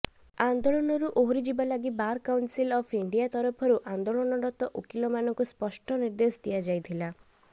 ଆନ୍ଦୋଳନରୁ ଓହରିଯିବା ଲାଗି ବାର କାଉନସିଲ୍ ଅଫ୍ ଇଣ୍ଡିଆ ତରଫରୁ ଆନ୍ଦୋଳନରତ ଓକିଲ ମାନଙ୍କୁ ସ୍ପଷ୍ଟ ନିର୍ଦ୍ଦେଶ ଦିଆଯାଇଥିଲା